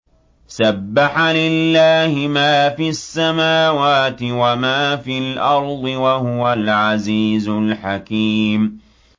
سَبَّحَ لِلَّهِ مَا فِي السَّمَاوَاتِ وَمَا فِي الْأَرْضِ ۖ وَهُوَ الْعَزِيزُ الْحَكِيمُ